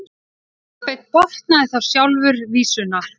Kolbeinn botnaði þá sjálfur vísuna: